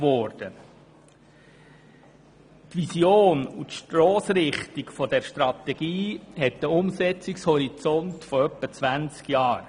Die Vision und die Stossrichtung dieser Strategie haben einen Umsetzungshorizont von etwa 20 Jahren.